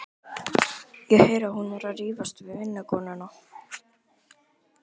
Ég heyri að hún er að rífast við vinnukonuna.